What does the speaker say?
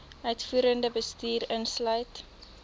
uitvoerende bestuur insluit